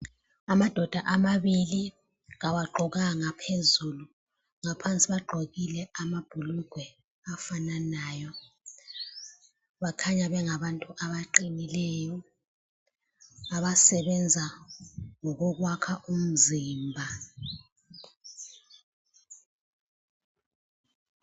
Amadoda amabili, kawagqokanga phezulu phansi bagqokile amabhulugwe afananayo. Bakhanya bengabantu abaqinileyo abasebenza ngokokwakha umzimba.